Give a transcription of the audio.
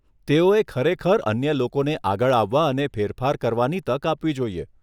તેઓએ ખરેખર અન્ય લોકોને આગળ આવવા અને ફેરફાર કરવાની તક આપવી જોઈએ.